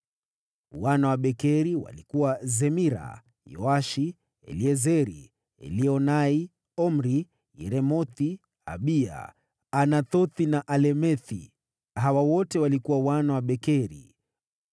Wana wa Bekeri walikuwa: Zemira, Yoashi, Eliezeri, Elioenai, Omri, Yeremothi, Abiya, Anathothi na Alemethi. Hawa wote walikuwa wana wa Bekeri.